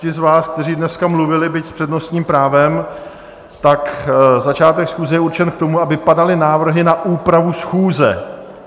Ti z vás, kteří dneska mluvili, byť s přednostním právem, tak začátek schůze je určen k tomu, aby padaly návrhy na úpravu schůze.